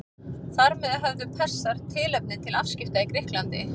Þar með höfðu Persar tilefni til afskipta í Grikklandi.